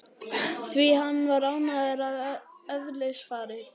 Því hann var hæglátur að eðlisfari.